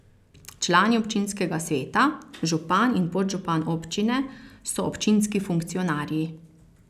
Člani občinskega sveta, župan in podžupan občine so občinski funkcionarji.